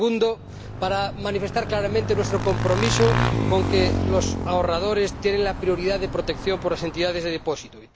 segundo, para manifestar claramente nuestro compromiso con que los ahorradores tienen la prioridad de protección por las entidades de depósito